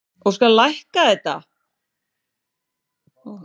og hér má sjá